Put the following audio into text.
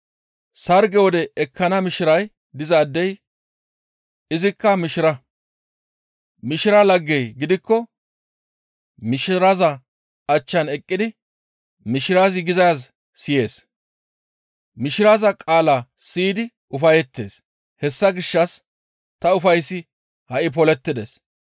Sarge wode ekkana mishiray dizaadey izikka mishira; mishira laggey gidikko mishiraza achchan eqqidi mishirazi gizaaz siyees; mishiraza qaala siyidi ufayettees; hessa gishshas ta ufayssi ha7i polettides.